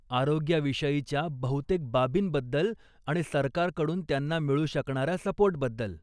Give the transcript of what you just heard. आरोग्याविषयीच्या बहुतेक बाबींबद्दल आणि सरकारकडून त्यांना मिळू शकणाऱ्या सपोर्टबद्दल.